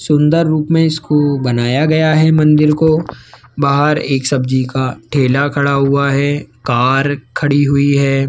सुंदर रूप में इसको बनाया गया है मंदिर को बाहर एक सब्जी का ठेला खड़ा हुआ है कार खड़ी हुई है।